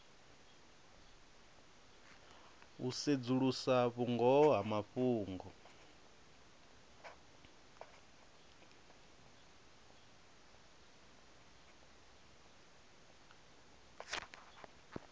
u sedzulusa vhungoho ha mafhungo